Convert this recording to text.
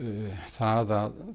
það að